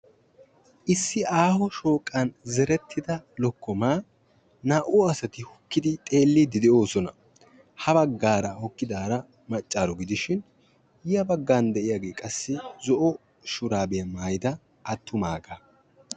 Issi aaho shooqan zerettida lokkomaa naa"u asati hokkidi xeelliiddi de'oosona. Ha baggaara hokkidaara maccaaro gidishin ya baggan de'iyagee qassi zo'o shuraabiya maayida attumaagaa.